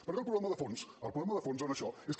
perquè el problema de fons el problema de fons en això és que